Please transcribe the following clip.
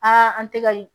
an tɛ ka